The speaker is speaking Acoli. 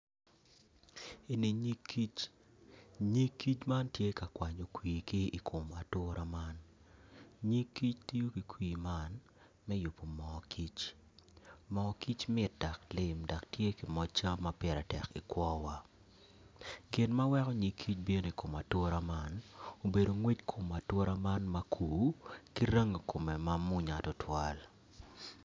Eni nyig kic nyig man tye ka kwanyo kwir ki iatura man nyig kic tiyo ki kwi man me yubu moo kic moo kic mit dok lim dok tye moc cam ma piritek i kwowa gin ma weko nyig kic bino i kom atura man obedo kwec kom atura man makur ki rangi komme ma munya tutwal